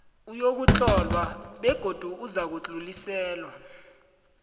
uyokuhlolwa begodu uzakudluliselwa